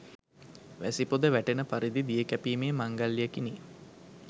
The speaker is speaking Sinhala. වැසි පොද වැටෙන පරිදි දිය කැපීමේ මංගල්‍යයකිනි.